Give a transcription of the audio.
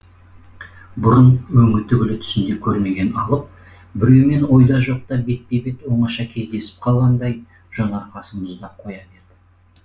бұрын өңі түгілі түсінде көрмеген алып біреумен ойда жоқта бетпе бет оңаша кездесіп қалғандай жон арқасы мұздап қоя берді